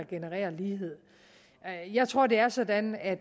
genererer lighed jeg tror det er sådan at